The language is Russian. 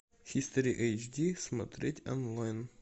хистори эйч ди смотреть онлайн